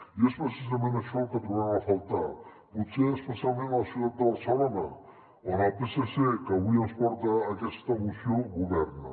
i és precisament això el que trobem a faltar potser especialment a la ciutat de barcelona on el psc que avui ens porta aquesta moció governa